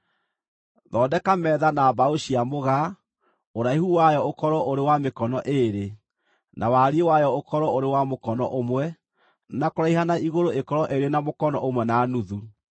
“Thondeka metha na mbaũ cia mũgaa, ũraihu wayo ũkorwo ũrĩ wa mĩkono ĩĩrĩ, na wariĩ wayo ũkorwo ũrĩ wa mũkono ũmwe, na kũraiha na igũrũ ĩkorwo ĩrĩ na mũkono ũmwe na nuthu.